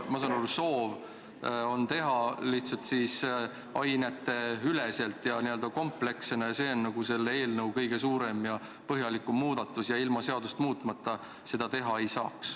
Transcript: Ma saan aru, et soov on teha teste lihtsalt aineteüleselt ja n-ö kompleksselt ning et see on selle eelnõu kõige suurem ja põhjalikum muudatus ning et ilma seadust muutmata seda teha ei saaks.